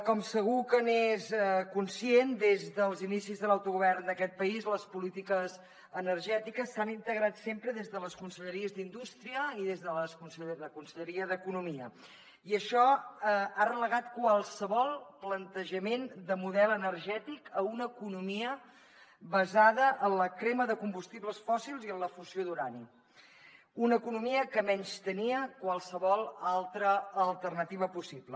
com segur que n’és conscient des dels inicis de l’autogovern d’aquest país les polítiques energètiques s’han integrat sempre des de la conselleria d’indústria i des de la conselleria d’economia i això ha relegat qualsevol plantejament de model energètic a una economia basada en la crema de combustibles fòssils i en la fusió d’urani una economia que menystenia qualsevol altra alternativa possible